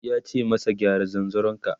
yace masa "gyara zanzaron ka!"